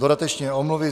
- Dodatečně omluvy.